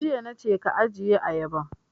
Tun jiya na ce ka ajiye ayaban!